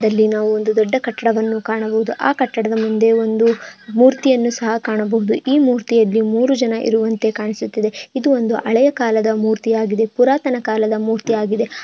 ಇಲ್ಲಿ ಒಂದು ದೊಡ್ಡ ಕಟ್ಟಡವನ್ನು ಕಾಣಬಹುದು ಆ ಕಟ್ಟಡ ಮುಂದೆ ಒಂದು ಸಹ ಕಾಣಬಹುದು ಈ ಮೂರ್ತಿ ಮೂರು ಜನ ಇರುವಂತೆ ಕಾಣಿಸುತ್ತಿದೆ ಇದು ಒಂದು ಹಳೆಯ ಕಾಲದ ಮೂರ್ತಿಯಾಗಿದೆ ಪುರಾತನ ಕಾಲದ ಮೂರ್ತಿಯಾಗಿದೆ.